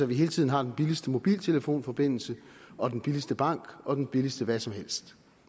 vi hele tiden har den billigste mobiltelefonforbindelse og den billigste bank og den billigste hvad som helst